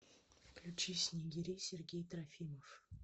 включи снегири сергей трофимов